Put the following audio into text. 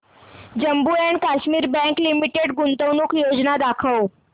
Jammu and Kashmir bank limited गुंतवणूक योजना दाखव